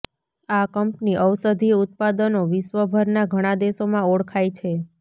આ કંપની ઔષધીય ઉત્પાદનો વિશ્વભરના ઘણા દેશોમાં ઓળખાય છે